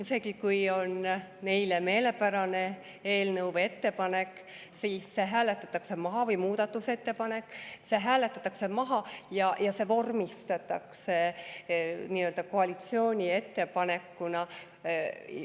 Isegi kui on neile meelepärane eelnõu või ettepanek või muudatusettepanek, siis see hääletatakse maha ja see vormistatakse nii-öelda koalitsiooni ettepanekuna.